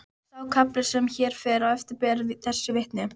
Sá kafli sem hér fer á eftir ber þessu vitni: